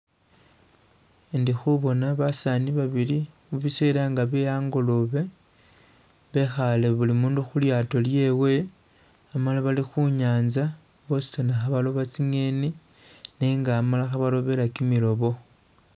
Indi khubona basani babili bisela nga bye hangolobe bekhale buli mundu khulyaato lyewe hamala bali khunyaza bwosizana kha balooba zingeni nenga hamala khebalobela gimilobo.